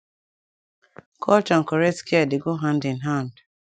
culture and correct care dey go hand in hand